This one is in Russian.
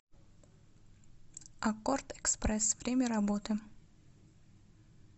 аккордэкспресс время работы